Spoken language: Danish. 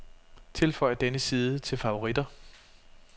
Tilføj denne side til favoritter.